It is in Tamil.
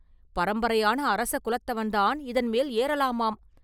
பரம்பரையான அரசகுலத்தவன்தான் இதன் மேல் ஏறலாமாம்.